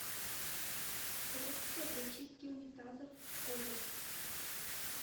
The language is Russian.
средство для чистки унитазов комет